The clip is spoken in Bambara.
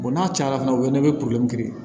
n'a cayala fɛnɛ o ye ne bɛ